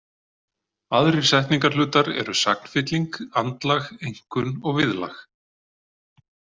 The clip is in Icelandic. Aðrir setningarhlutar eru sagnfylling, andlag, einkunn og viðlag.